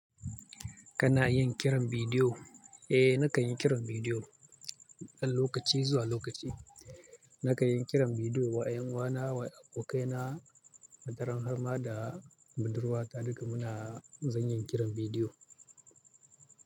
Kana yin kiran bidiyo? Eh, nakan yi kiran bidiyo ɗan lokaci zuwa lokaci. Nakan yi kiran bidiyo wa 'yan uwana, wa abokaina, wataran harma da budurwata. Duka muna zan yin kiran bidiyo.